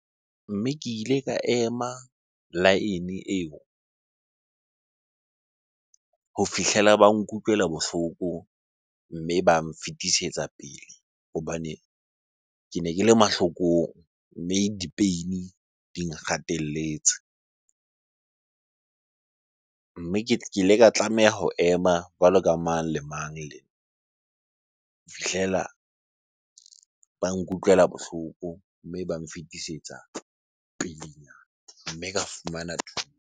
Mme ke ile ka ema laene eo ho fihlela ba nkutlwela bohloko mme ba nfetisetsa pele hobane kene ke le mahlokong. Mme di-pain di nkgatelletse. Mme ke ile ka tlameha ho ema jwalo ka mang le mang ho fihlela ba nkutlwela bohloko, mme ba nfetisetsa pele nyana mme ka fumana .